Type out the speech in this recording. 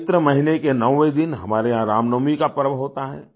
चैत्र महीने के नौवें दिन हमारे यहाँ रामनवमी का पर्व होता है